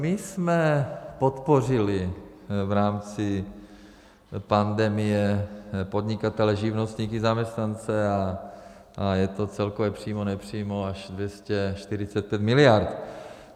My jsme podpořili v rámci pandemie podnikatele, živnostníky, zaměstnance a je to celkově přímo, nepřímo až 245 miliard.